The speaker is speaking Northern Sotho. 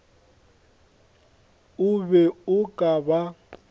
o be o ka ba